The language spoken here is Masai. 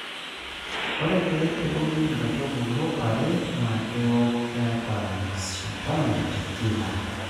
Ore pee eunu inkaitubulu are ,naa keuk keeta mashindano te kila